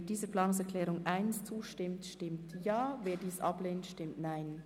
Wer dieser Planungserklärung zustimmt, stimmt Ja, wer diese ablehnt, stimmt Nein.